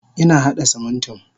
Ina hada Simintin.